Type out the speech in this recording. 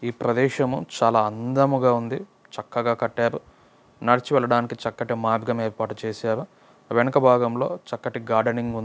ప్రదేశము చాలా అందముగా ఉంది. చక్కగా కట్టారు నడిచి వెళ్ళటానికి చక్కటి మార్గము ఏర్పాటు చేశారు వెనుక భాగంలో చక్కని గార్డెనింగ్ --ఉన్